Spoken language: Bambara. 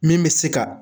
Min bɛ se ka